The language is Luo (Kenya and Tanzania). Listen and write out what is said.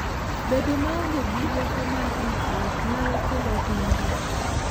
Bedo maonge gi rieko mar ritruok nyalo kelo hinyruok.